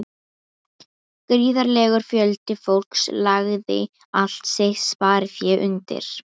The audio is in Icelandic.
Gríðarlegur fjöldi fólks lagði allt sitt sparifé undir.